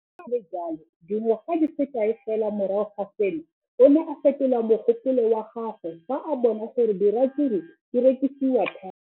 Le fa go le jalo, dingwaga di se kae fela morago ga seno, o ne a fetola mogopolo wa gagwe fa a bona gore diratsuru di rekisiwa thata.